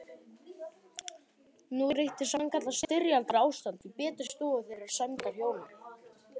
Nú ríkti sannkallað styrjaldarástand í betri stofu þeirra sæmdarhjóna